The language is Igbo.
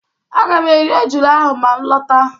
Aga m eri ejula ahụ ma m lọta.